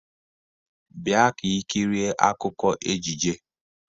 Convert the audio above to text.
Bia ka ikirie akụkọ ejije!